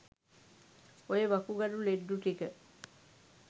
ඔය වකුගඩු ලෙඩ්ඩු ටික